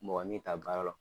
Mɔgɔ min ta baara la o